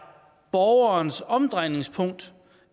borgerens omdrejningspunkt